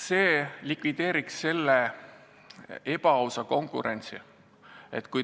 See likvideeriks praeguse ebaausa konkurentsi.